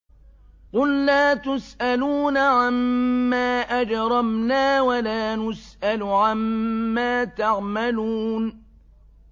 قُل لَّا تُسْأَلُونَ عَمَّا أَجْرَمْنَا وَلَا نُسْأَلُ عَمَّا تَعْمَلُونَ